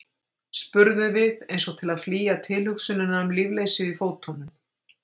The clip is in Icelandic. spurðum við, eins og til að flýja tilhugsunina um lífleysið í fótunum.